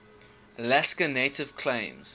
alaska native claims